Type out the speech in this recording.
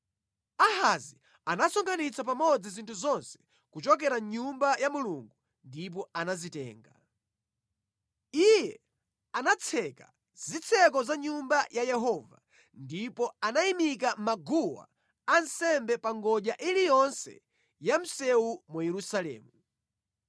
Ahazi anasonkhanitsa pamodzi zinthu zonse kuchokera mʼNyumba ya Mulungu ndipo anazitenga. Iye anatseka zitseko za Nyumba ya Yehova ndipo anayimika maguwa ansembe pa ngodya iliyonse ya msewu mu Yerusalemu.